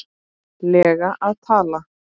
lega að tala?